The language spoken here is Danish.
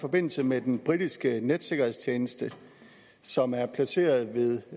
forbindelse med den britiske netsikkerhedstjeneste som er placeret ved